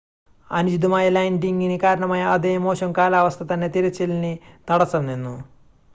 അനുചിതമായ ലാൻഡിംങിന് കാരണമായ അതേ മോശം കാലാവസ്ഥ തന്നെ തിരച്ചിലിന് തടസ്സം നിന്നു